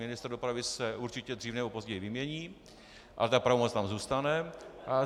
Ministr dopravy se určitě dřív nebo později vymění, ale ta pravomoc tam zůstane.